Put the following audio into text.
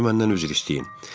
Əvvəlcə məndən üzr istəyin.